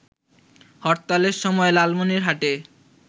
হরতালের সময় লালমনিরহাটে